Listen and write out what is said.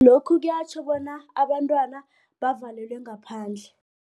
Lokhu kuyatjho bona abantwana bavalelwe ngaphandle.